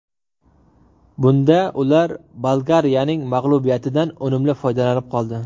Bunda ular Bolgariyaning mag‘lubiyatidan unumli foydalanib qoldi.